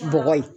Bɔgɔ ye